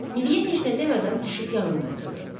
Miriyə heç nə demədən düşüb yanında oturdu.